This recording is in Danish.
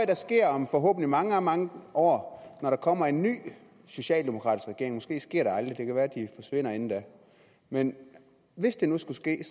der sker om forhåbentlig mange mange år når der kommer en ny socialdemokratisk regering måske sker det aldrig det kan være de forsvinder inden da men hvis det nu skulle ske